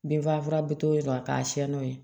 Binfagalan bi to yen nɔ a ka siɲɛ n'o ye